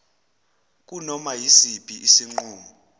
kunoma yisiphi isinqumo